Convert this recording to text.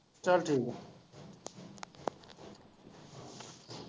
ਚੱਲ ਠੀਕ।